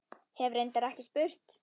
Hef reyndar ekki spurt.